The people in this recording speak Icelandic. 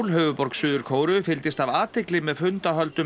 höfuðborg Suður Kóreu fylgdist af athygli með fundahöldunum